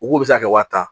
U k'u bɛ se ka kɛ wa tan